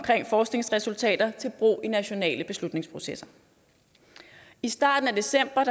forskningsresultater til brug i nationale beslutningsprocesser i starten af december